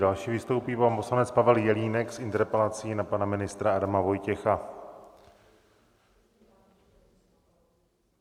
Další vystoupí pan poslanec Pavel Jelínek s interpelací na pana ministra Adama Vojtěcha.